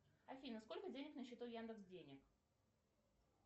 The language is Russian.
афина сколько денег на счету яндекс денег